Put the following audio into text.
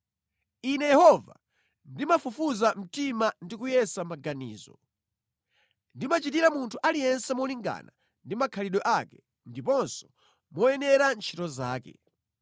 “Ine Yehova ndimafufuza mtima ndi kuyesa maganizo, ndimachitira munthu aliyense molingana ndi makhalidwe ake ndiponso moyenera ntchito zake.”